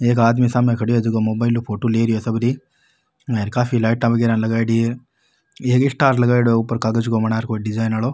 एक आदमी सामे खड़यो है जेको मोबाईल ऊ फोटो ले रहे है सब री काफी लाइटा वगेरा लगाईडी है एक स्टार लगाईडो है ऊपर कागज को बनार कोई डिजाइन आरो।